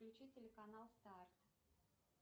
включи телеканал старт